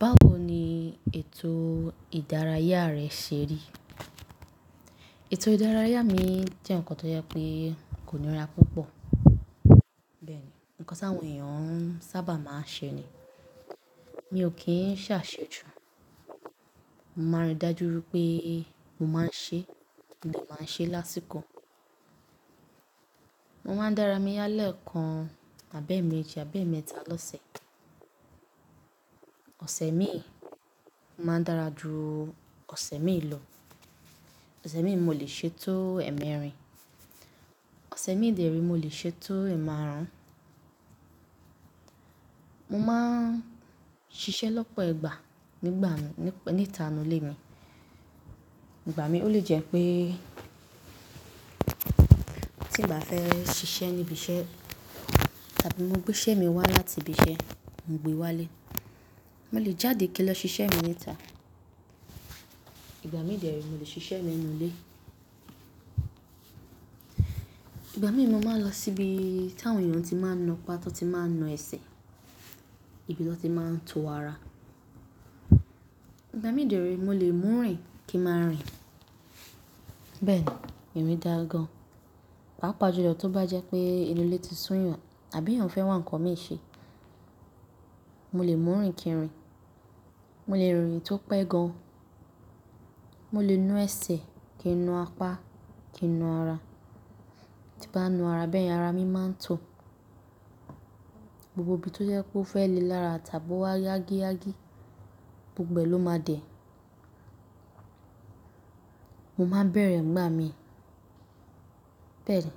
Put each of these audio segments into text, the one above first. Báwo ni ètò ìdárayá rẹ ṣe rí? Ètò ìdárayá mi jẹ́ ǹkan tó jẹ́ pé kò níra púpọ̀. Bẹ́ẹ̀ni, ǹkan tí àwọn èèyàn sábà máa ń ṣe ni. Mi ò kí ń ṣàṣejù. Mo máa ń rí dájú wípé mo máa ń ṣe, mo de máa ń ṣe lásìkò. Mo máa ń dára mi ya lẹ́ẹ̀kan, àbẹ́ẹ̀méji, àbẹ́ẹ̀mẹ́ta lọ́sẹ̀. Ọ̀sẹ̀ mi ò máa ń dára ju ọ̀sẹ̀ mi lọ. Ọ̀sẹ̀ mi mo lè ṣe tó ẹ̀ẹ̀mẹ́rin. Ọ̀sẹ̀ mi dèré mo lè ṣe tó ẹ̀ẹ̀márùn. Mo máa ń ṣiṣẹ́ lọ́pọ̀ igbá nígbà mi, níta inú ilé mi. Ìgbà mi ó lè jẹ́ pé tí n bá fẹ́ ṣiṣẹ́ níbi iṣẹ́ tàbí mo gbé iṣẹ́ mi wá láti ibi iṣẹ́, mo gbé wá ilé. Mo lè jáde kí n lọ ṣiṣẹ́ mi níta. Ìgbà mi dèré mo lè ṣiṣẹ́ mi nú ilé. Ìgbà mí mo máa lọ síbi tí àwọn èèyàn ti máa ń na pá, tí wọ́n ti máa ń na ẹsẹ̀, ibi tí wọ́n ti máa ń tọ ara. Ìgbà mi dèré mo lè mú rin kí máa rin. Bẹ́ẹ̀ni, èmi dáa gan. Pá pàjùlọ tó bá jẹ́ pé inú ilé ti sún yàn tàbí èèyàn fẹ́ wá ǹkan mi ṣe, mo lè mú rin kí ń rìn. Mo lè rìn tó pẹ́ gan. Mo lè nu ẹsẹ̀ kí ń nu apá, kí ń nu ara. Tí bá nu ara bẹ́ẹ̀, ara mi máa ń to. Gbogbo ibi tó jẹ́ kó fẹ́ le lára tàbí ó wá yágíyágí gbogbo ẹ ló máa dẹ̀. Mo máa ń bẹ̀rẹ̀ ǹgbà mi. Bẹ́ẹ̀ni,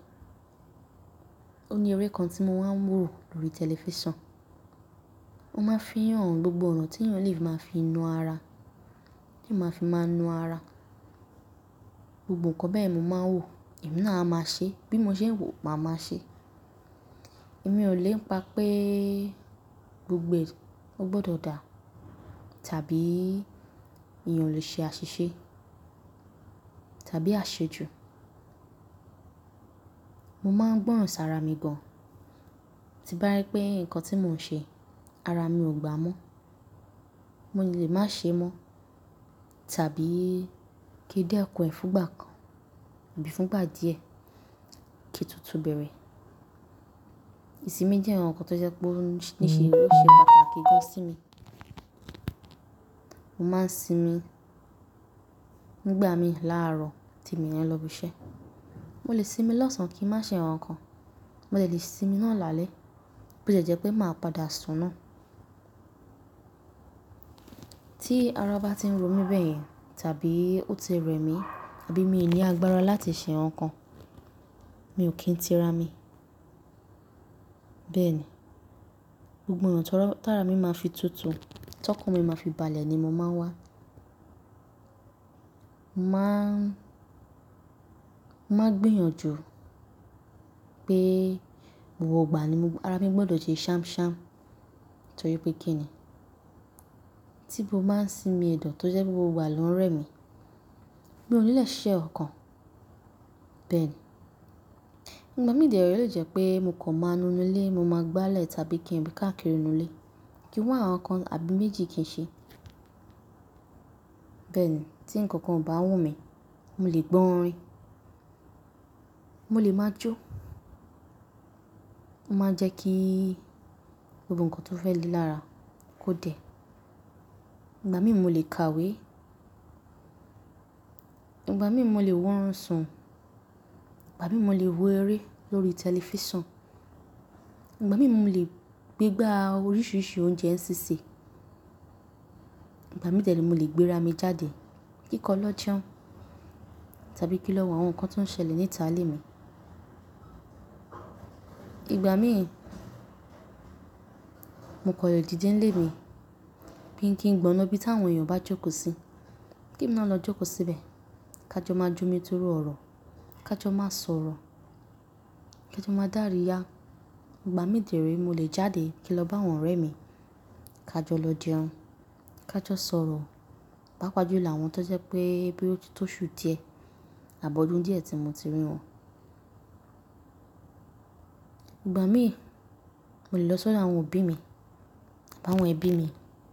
ó ní eré kan tí mo máa ń wò lórí tẹlifísàn. Ó máa ń fi hàn gbogbo ọna tí èèyàn lè máa fi nu ara, kí ó máa fi máa nu ara. Gbogbo ǹkan bẹ́ẹ̀ mo máa ń wò, èmi náà a máa ṣe. Bí mo ṣe ń wò, màá máa ṣe. Èmi ò lè ń pa pé gbogbo ẹ̀ ó gbọdọ̀ dà tàbí èèyàn lè ṣe àṣìṣe tàbí àṣejù. Mo máa ń gbọ́ràn sára mi gan. Tí bá rí pé ǹkan tí mò ń ṣe ara mi ò gbà mọ́, mo lè máa ṣe mọ́ tàbí kí n dé kùn ẹ fún ìgbà kan àbí fún ìgbà díẹ̀ kí tún túbẹ̀rẹ̀. Ìsinmi jẹ́ ǹkan tó jẹ́ pé níṣe o ṣe pàtàkì gan sí mi. Mo máa ń sinmi nígbà mi láàárọ̀ tí mi ni lọ ibi iṣẹ́. Mo lè sinmi lọ́sàn án kí ń má ṣe ǹkankan. Mo dè lè sinmi náà lálẹ́ bó ó tiẹ́ jẹ́ pé màá padà sùn náà. Tí ara bá tí ń ro mí bẹ́yẹn tàbí ó ti rẹ̀ mí àbí mi ò ní agbára láti ṣe ǹkankan, mi ò kí ń tira mi. Bẹ́ẹ̀ni, gbogbo ọ̀nà tàrá mi máa fi tutù, tọkanmi máa fi balẹ̀ ni mo máa ń wá. Mo máa ń, mo máa ń gbìyànjú pé gbogbo ìgbà ni ara mi gbọdọ̀ ṣe sham sham tó ri pé kí ni. Tí mo bá ń sinmi ẹ̀dọ̀ tó jẹ́ pé gbogbo ìgbà ló ń rẹ̀ mi, mi ò ní lè ṣíṣe ǹkankan. Bẹ́ẹ̀ni, ìgbà mí dèré ó lè jẹ́ pé mo kọ́ máa nu inú ilé, mo máa gbálẹ̀ tàbí kí ń rí káàkiri inú ilé, kí ń wá ǹkankan àbí méjì kí ń ṣe. Bẹ́ẹ̀ni, tí ǹkan kan ò bá wù mí, mo lè gbọ orin. Mo lè máa jó. Mo máa ń jẹ́ kí gbogbo ǹkan tó fẹ́ le lára kó dẹ̀. Ìgbà mí mu lè ka ìwé. Ìgbà mí mo lè wá orùnsun. Ìgbà mí mo lè wo eré lórí tẹlifísàn. Ìgbà mí mo lè gbegba oríṣiríṣi oúnjẹ sísè. Ìgbà mí dèré mo lè gbé ra mi jáde kí ń kọ lọ jẹun tàbí kí lọ wo àwọn ǹkan tó ń ṣẹlẹ̀ níta i ilé mi. Ìgbà mí mo kọ̀ le dìde nílé mi bí n kí ń gbọná ibi tí àwọn èèyàn bá jókòó sí, kí ń náà lọ jókòó síbẹ̀ ká jọ máa jó mi tórú ọ̀rọ̀, ká jọ máa sọ̀rọ̀, ká jọ máa dàríyá. Ìgbà mí dẹré mo lè jáde kí ń lọ bá àwọn ọ̀rẹ́ mi ká jọ lọ jẹun, ká jọ sọ̀rọ̀ pá pàjùlọ àwọn tó jẹ́ pé boya ó tito ṣú díẹ̀ àbọ́dún díẹ̀ tí mo ti rí wọn. Ìgbà mí mu lè lọ sọ́dọ̀ àwọn òbí mi àbí àwọn ẹbí mi.